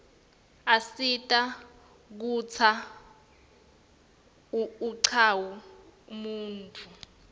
asita kutsz unqawi umnotfo